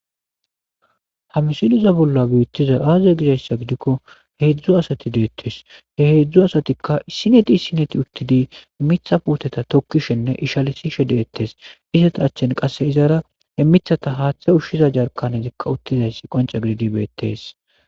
hamsiliza bolla beettiza aaze gizayssa gidikko he heedzdzu asati deettes he heedzdzu asatikka sineti sineti uttidi mitha puoteta tokkishenne ishalisi shedettes izata achchen qasse izara he mithata haaththe ushshiza jarkanetikka uttizayssi qonca gididi beettees